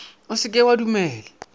o se ke wa dumela